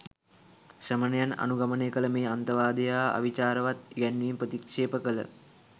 ශ්‍රමණයන් අනුගමනය කළ මේ අන්තවාදය හා අවිචාරවත් ඉගැන්වීම ප්‍රතික්ෂේප කළ